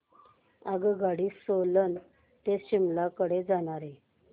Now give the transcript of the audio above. आगगाडी सोलन ते शिमला कडे जाणारी